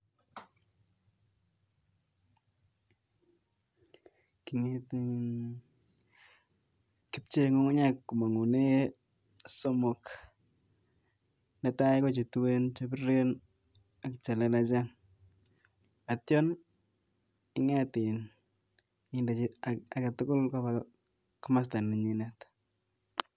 Kipchee ngungunyek komong konyil somok, netai Ko chetuen ,chebiren ak chelelachen, yeityo inget in indechi agetugul komosto nenyinet.